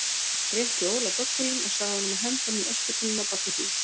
Rétti Óla böggulinn og sagði honum að henda honum í öskutunnuna bak við hús.